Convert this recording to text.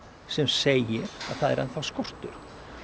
sem segir að það er enn þá skortur